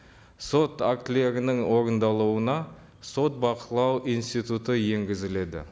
сот актілерінің орындалуына сот бақылау институты енгізіледі